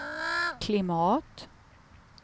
klimat